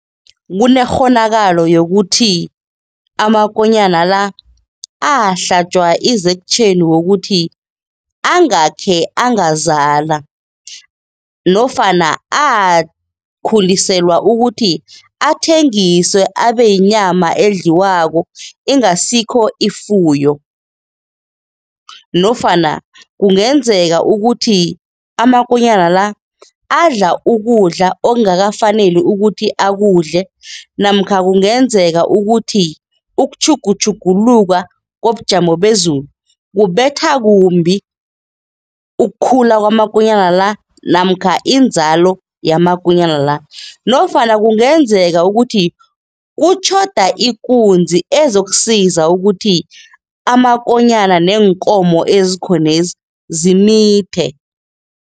Kunekghonakalo yokuthi amakonyana la ahlatjwa i-injection wokuthi angakhe angazala nofana akhuliselwa ukuthi athengiswe, abe yinyama edliwako ingasikho ifuyo nofana kungenzeka ukuthi amakonyana la adla ukudla okungakafaneli ukuthi akudle namkha kungenzeka ukuthi ukutjhugutjhuguluka kobujamo bezulu kubetha kumbi ukukhula kwamakonyana la namkha inzalo yamakonyana la nofana kungenzeka ukuthi kutjhoda ikunzi ezokusiza ukuthi amakonyana neenkomo ezikhonezi zimithe.